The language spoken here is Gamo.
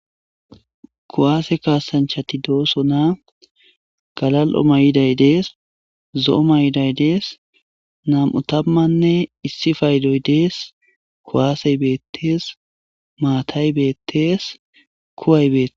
Kuwaseka kasanchati doosonaa galal'o mayiday dees zo'o mayiday dees 21 paydoy dees kuwasey beetees maatay beetees kuway beetees.